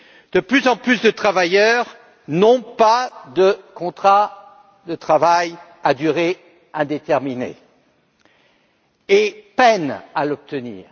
De plus en plus de travailleurs n'ont pas de contrat de travail à durée indéterminée et peinent à l'obtenir.